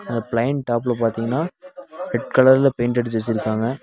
அ plain டாப்ல பாத்தீங்னா red கலர்ல பெயிண்ட் அடிச்சு வச்சுருக்காங்க.